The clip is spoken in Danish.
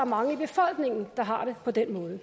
mange i befolkningen der har det på den måde